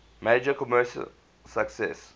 major commercial success